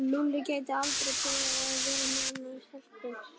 Lúlli gæti aldrei byrjað að vera með annarri stelpu.